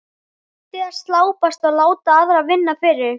Hættið að slæpast og láta aðra vinna fyrir ykkur.